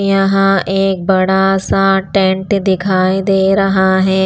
यहाँ एक बड़ा सा टेंट दिखाई दे रहा है।